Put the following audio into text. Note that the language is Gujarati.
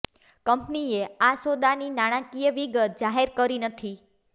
કંપનીએ આ સોદાની નાણાકીય વિગત જાહેર કરી નથી